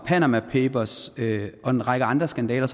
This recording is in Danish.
panama papers og en række andre skandaler